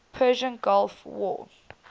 persian gulf war